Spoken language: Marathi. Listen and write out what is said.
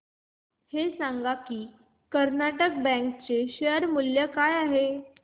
हे सांगा की कर्नाटक बँक चे शेअर मूल्य काय आहे